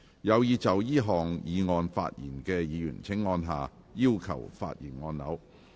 有意就這項議案發言的議員請按下"要求發言"按鈕。